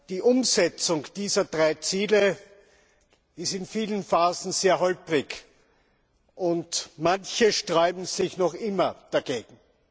Die Umsetzung dieser drei Ziele ist in vielen Phasen sehr holprig, und manche sträuben sich noch immer dagegen.